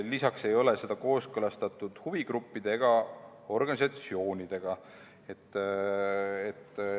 Lisaks ei ole kooskõlastatud huvigruppide ega organisatsioonidega.